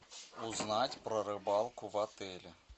узнать про рыбалку в отеле